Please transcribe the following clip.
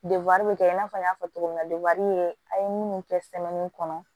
bɛ kɛ i n'a fɔ n y'a fɔ cogo min na an ye minnu kɛ kɔnɔ